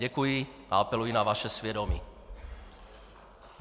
Děkuji a apeluji na vaše svědomí.